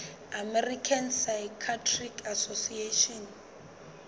american psychiatric association